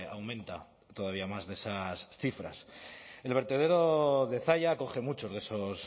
aumenta todavía más de esas cifras el vertedero de zalla acoge muchos de esos